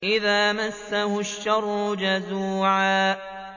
إِذَا مَسَّهُ الشَّرُّ جَزُوعًا